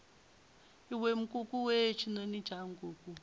iwe nkukuwe tshinoni tsha nkuku